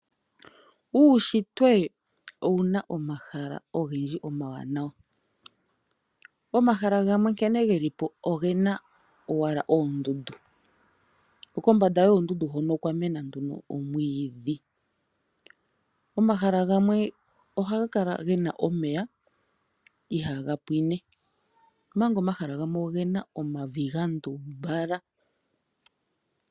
Uunshitwe owuna omahala omawanawa gena omeya nomavi gandumbala